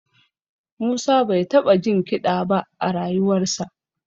Musa bai taɓa jin kiɗa ba a rayuwarsa